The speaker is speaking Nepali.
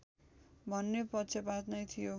भन्ने पक्षपात नै थियो